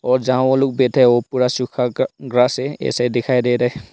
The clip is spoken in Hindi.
और जहां वो लोग बैठे हैं वो पूरा सुखा ग ग्रास है ऐसे दिखाई दे रहे--